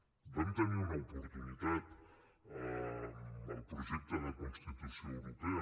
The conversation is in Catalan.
en vam tenir una oportunitat amb el projecte de constitució europea